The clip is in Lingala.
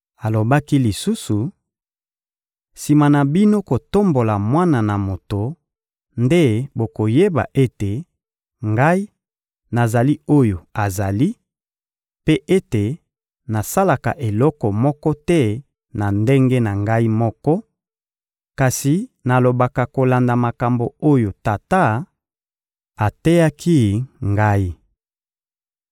Alobaki lisusu: — Sima na bino kotombola Mwana na Moto nde bokoyeba ete, Ngai, nazali oyo azali, mpe ete nasalaka eloko moko te na ndenge na Ngai moko, kasi nalobaka kolanda makambo oyo Tata ateyaki Ngai.